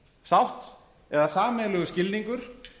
sátt eða sameiginlegur skilningur